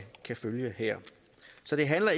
kan følge her så det handler